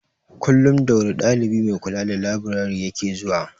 Kullum da wuri dalibi mai kula da laburare ya ke zuwa.